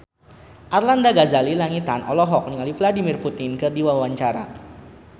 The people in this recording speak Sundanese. Arlanda Ghazali Langitan olohok ningali Vladimir Putin keur diwawancara